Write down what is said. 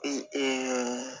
Ee